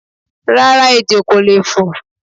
Rárá, ejò ko lee fo